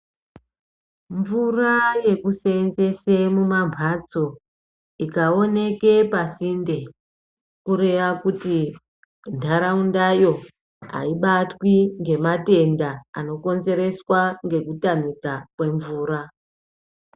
Mvura yekuseenzese mumambatso ikaoneke pasinde kureya kuti ntaraundayo haibatwi ngematenda anokonzereswa nekutamika kwemvura.